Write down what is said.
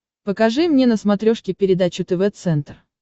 покажи мне на смотрешке передачу тв центр